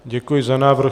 Děkuji za návrh.